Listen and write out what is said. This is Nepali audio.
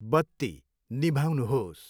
बत्ती निभाउनुहोस्।